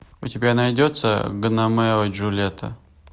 у тебя найдется гномео и джульетта